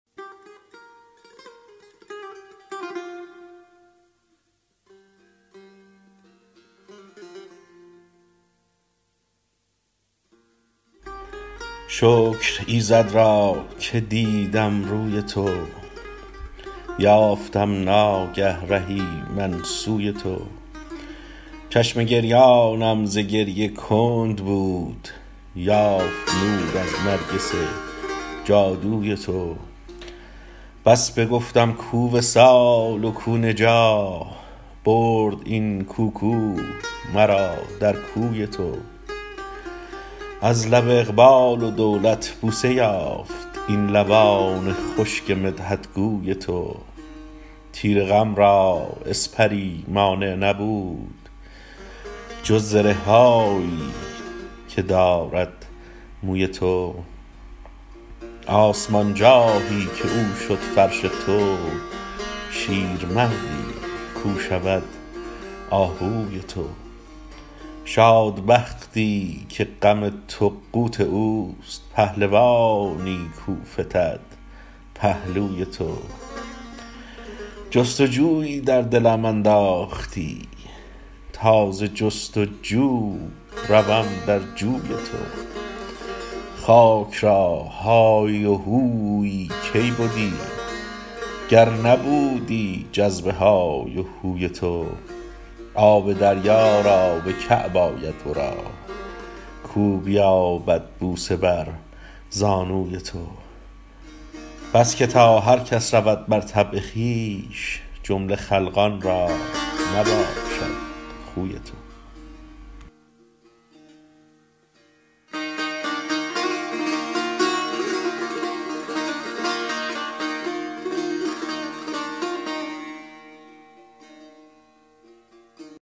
شکر ایزد را که دیدم روی تو یافتم ناگه رهی من سوی تو چشم گریانم ز گریه کند بود یافت نور از نرگس جادوی تو بس بگفتم کو وصال و کو نجاح برد این کو کو مرا در کوی تو از لب اقبال و دولت بوسه یافت این لبان خشک مدحت گوی تو تیر غم را اسپری مانع نبود جز زره هایی که دارد موی تو آسمان جاهی که او شد فرش تو شیرمردی کو شود آهوی تو شاد بختی که غم تو قوت اوست پهلوانی کو فتد پهلوی تو جست و جویی در دلم انداختی تا ز جست و جو روم در جوی تو خاک را هایی و هویی کی بدی گر نبودی جذب های و هوی تو آب دریا تا به کعب آید ورا کو بیابد بوسه بر زانوی تو بس که تا هر کس رود بر طبع خویش جمله خلقان را نباشد خوی تو